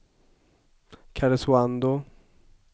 Karesuando